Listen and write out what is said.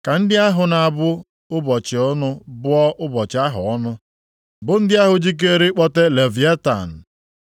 Ka ndị ahụ na-abụ ụbọchị ọnụ bụọ ụbọchị ahụ ọnụ, bụ ndị ahụ jikeere ịkpọte Leviatan. + 3:8 Anụ ọjọọ dị ukwuu bi nʼosimiri